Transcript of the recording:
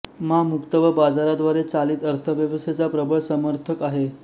मा मुक्त व बाजाराद्वारे चालित अर्थव्यवस्थेचा प्रबळ समर्थक आहे